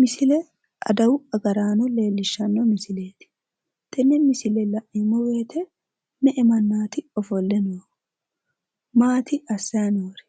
Misile adawu agaraano leellishshanno misileeti. Tenne misile la'neemmo woyite me"e mannaati ofolle noohu? Maati assayi noori?